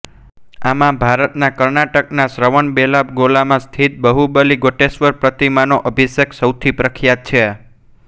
આમાં ભારતના કર્ણાટકના શ્રવણબેલાગોલામાં સ્થિત બાહુબલી ગોમટેશ્વર પ્રતિમાનો અભિષેક સૌથી પ્રખ્યાત છે